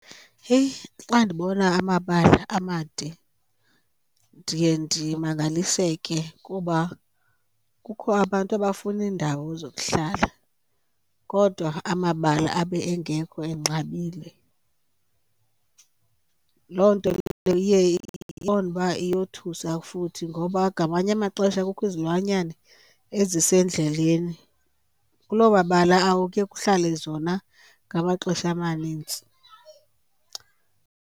Heyi, xa ndibona amabala amade ndiye ndimangaliseke kuba kukho abantu abafuna iindawo zokuhlala kodwa amabala abe engekho enqabile. Loo nto leyo iye uqonde uba iyothusa futhi ngoba ngamanye amaxesha kukho izilwanyane ezisendleleni. Kuloo mabala kuye kuhlale zona ngamaxesha amanintsi.